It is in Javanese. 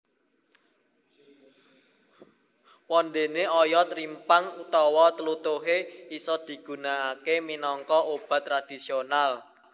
Wondéné oyot rimpang utawa tlutuhé isa digunakaké minangka obat tradisional